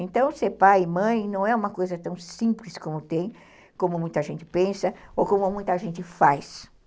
Então, ser pai e mãe não é uma coisa tão simples como tem, como muita gente pensa, ou como muita gente faz.